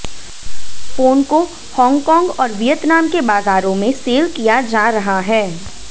phone को Hong Kong और Vietnam के बाज़ारों में सेल किया जा रहा है